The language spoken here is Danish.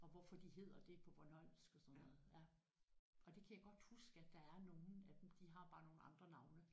Og hvorfor de hedder det på bornholmsk og sådan noget ja og det kan jeg godt huske at der er nogle af dem de har bare nogle andre navne